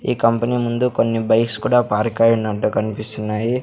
ఈ కంపెనీ ముందు కొన్ని బైక్స్ కూడా పార్క్ అయ్యినట్టు కనిపిస్తున్నాయ్.